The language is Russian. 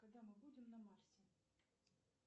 когда мы будем на марсе